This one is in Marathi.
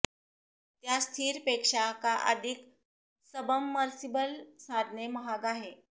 त्या स्थिर पेक्षा का अधिक सबमर्सिबल साधने महाग आहे